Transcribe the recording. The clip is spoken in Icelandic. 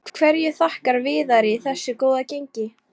Hverju þakkar Viðari þessu góða gengi?